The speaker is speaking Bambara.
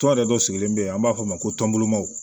Tɔ yɛrɛ dɔ sigilen bɛ yen an b'a fɔ o ma ko tɔnbaw